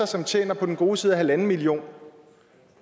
som tjener på den gode side af en million kr